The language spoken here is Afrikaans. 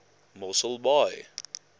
mosselbaai